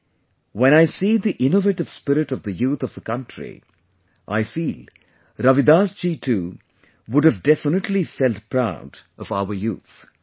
Today when I see the innovative spirit of the youth of the country, I feel Ravidas ji too would have definitely felt proud of our youth